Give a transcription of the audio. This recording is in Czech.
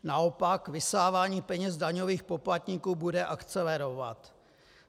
Naopak, vysávání peněz daňových poplatníků bude akcelerovat.